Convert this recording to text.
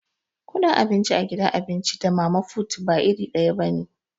Kudin abinci a gidan abinci da mama fut ba iri daya bane.